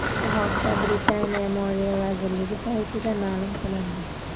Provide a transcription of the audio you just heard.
Bu haqda Britaniya moliya vazirligi saytida ma’lum qilindi .